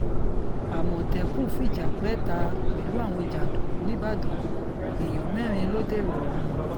àmọ̀tẹ́kùn fìjà pẹẹ́ta pẹ̀lú àwọn jàǹdùkú nígbàdàn èèyàn mẹ́rin ló dèrò ọ̀run